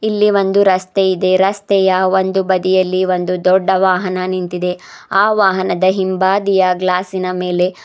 ಇಲ್ಲಿ ಒಂದು ರಸ್ತೆ ಇದೆ ರಸ್ತೆಯ ಒಂದು ಬದಿಯಲ್ಲಿ ಒಂದು ದೊಡ್ಡ ವಾಹನ ನಿಂತಿದೆ ಆ ವಾಹನದ ಹಿಂಭಾದಿಯ ಗ್ಲಾಸಿನ ಮೇಲೆ --